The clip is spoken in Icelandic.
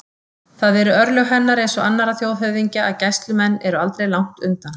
Það eru örlög hennar eins og annarra þjóðhöfðingja að gæslumenn eru aldrei langt undan.